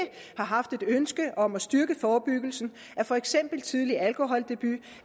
har haft et ønske om at styrke forebyggelsen af for eksempel tidlig alkoholdebut